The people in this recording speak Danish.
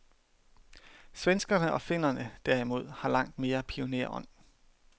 Svenskerne og finnerne derimod har langt mere pionerånd.